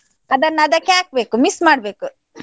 ಅದನ್ನ ಅದಕ್ಕೆ ಹಾಕ್ಬೇಕು mix ಮಾಡ್ಬೇಕು.